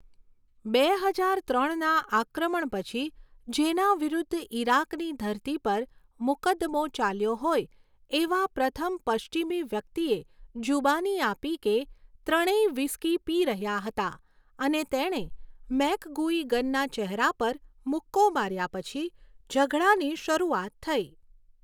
બે હજાર ત્રણના આક્રમણ પછી જેના વિરુદ્ધ ઇરાકની ધરતી પર મુકદ્દમો ચાલ્યો હોય એવા પ્રથમ પશ્ચિમી વ્યક્તિએ, જુબાની આપી કે ત્રણેય વ્હિસ્કી પી રહ્યા હતા અને તેણે મેકગુઇગનના ચહેરા પર મુક્કો માર્યા પછી ઝઘડાની શરૂઆત થઈ.